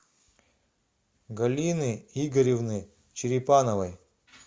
галины игоревны черепановой